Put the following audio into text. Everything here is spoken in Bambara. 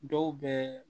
Dɔw bɛ